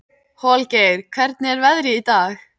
Holgeir, hvernig er veðrið í dag?